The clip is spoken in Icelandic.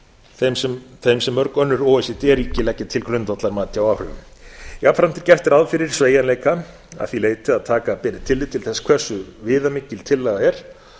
þeim sem mörg önnur o e c d ríki leggja til grundvallar mati á áhrifum jafnframt er gert ráð fyrir sveigjanleika að því leyti að taka beri tillit til þess hversu viðamikil tillaga er